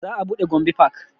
Za a buɗe gombe park